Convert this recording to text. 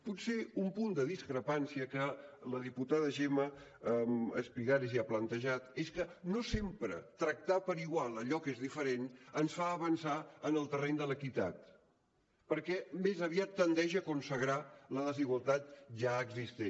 potser un punt de discrepància que la diputada gemma espigares ja ha plantejat és que no sempre tractar per igual allò que és diferent ens fa avançar en el terreny de l’equitat perquè més aviat tendeix a consagrar la desigualtat ja existent